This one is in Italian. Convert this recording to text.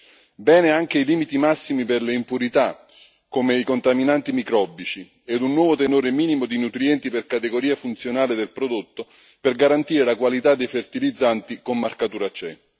Sono positivi anche i limiti massimi per le impurità, come i contaminanti microbici, e il nuovo tenore minimo di nutrienti per categoria funzionale del prodotto, per garantire la qualità dei fertilizzanti con marcatura CE.